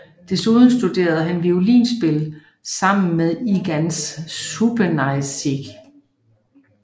Desuden studerede han violinspil sammen med Ignaz Schuppanzigh